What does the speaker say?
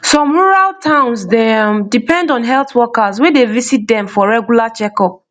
some rural towns dey um depend on health workers wey dey visit dem for regular checkup